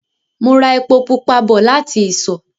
Mo ra epo pupa bọ̀ láti ìsọ̀